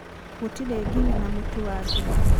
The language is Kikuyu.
gũtĩrĩ nginya na mũtu wa ngima.